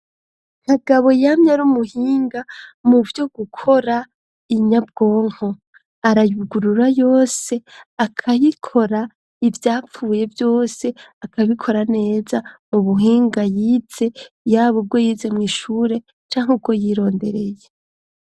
kagabo yamye ari umuhinga mu vyo gukora inyabwonko arayugurura yose akayikora ivyapfuye vyose akabikora neza mu buhinga yize yaba ubwo yize mw, ishure canka ubwo yirondereye